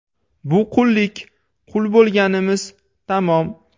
Bu qullik, qul bo‘lganimiz, tamom.